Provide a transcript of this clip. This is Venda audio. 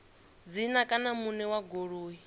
dzina kana muṋe wa goloi